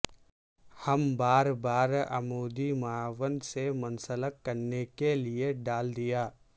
ہم بار بار عمودی معاون سے منسلک کرنے کے لئے ڈال دیا